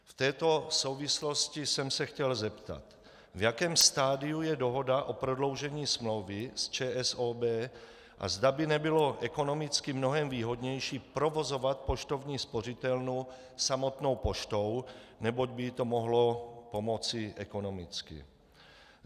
V této souvislosti jsem se chtěl zeptat, v jakém stadiu je dohoda o prodloužení smlouvy s ČSOB a zda by nebylo ekonomicky mnohem výhodnější provozovat poštovní spořitelnu samotnou poštou, neboť by jí to mohlo pomoci ekonomicky.